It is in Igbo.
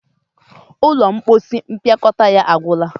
ụlọ mposi mpịakọta ya agwu na.